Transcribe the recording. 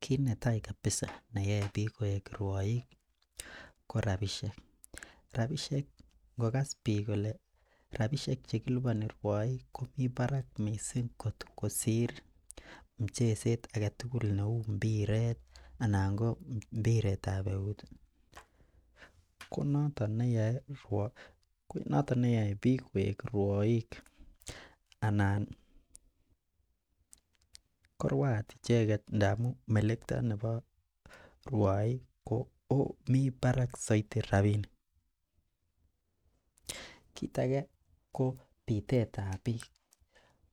Kit netai kabisa neyoe bik koik ruoik ko rabishek, rabishek nkokas bik kole rabishek chekiliponin ruoik komii barak missing kot kosir muchezet agetukul neo mpiret anan ko mpiretab eut tii konoton neyoe noton konoton neyoe bik koik ruoik anan ko ruat icheket ndamun melekto nebo ruoik ko mii barak soiti rabinik. Kit age ko pitetab bik